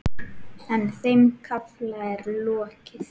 En þeim kafla er lokið.